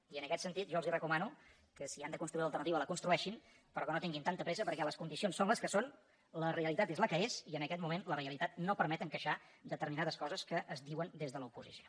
i en aquest sentit jo els recomano que si han de construir l’alternativa la construeixin però que no tinguin tanta pressa perquè les condicions són les que són la realitat és la que és i en aquest moment la realitat no permet encaixar determinades coses que es diuen des de l’oposició